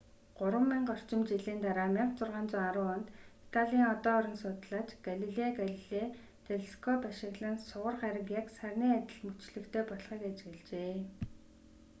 гурван мянга орчим жилийн дараа 1610 онд италийн одон орон судлаач галилео галилей телескоп ашиглан сугар гариг яг сарны адил мөчлөгтэй болохыг ажиглажээ